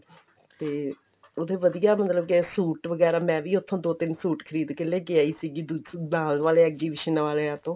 ਤੇ ਉਹਦੇ ਵਧੀਆ ਮਤਲਬ ਕੀ ਸੂਟ ਵਗੈਰਾ ਮੈ ਵੀ ਉੱਥੋਂ ਦੋ ਤਿੰਨ ਸੂਟ ਖਰੀਦ ਕੇ ਲੈ ਆਈ ਸੀ ਨਾਲ ਵਾਲੇ exhibition ਵਾਲਿਆਂ ਤੋਂ